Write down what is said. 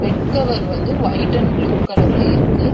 Bed cover வந்து white and blue கலர்ல இருக்கு.